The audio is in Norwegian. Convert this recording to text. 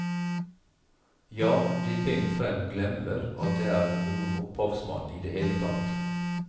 Ja, de bent frem glemmer at det er noen opphavsmann i det hele tatt.